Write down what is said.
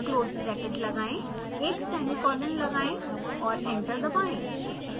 close bracket लगाएं एक semicolon लगाएं और एंटर दबाएं